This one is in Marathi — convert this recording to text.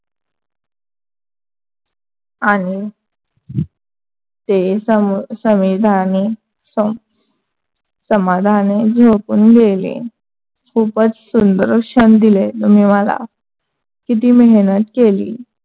आणि ते समाधानी झोपुन गेले. खूपच सुंदर क्षण दिले तुम्ही मला. किती मेहनत केली.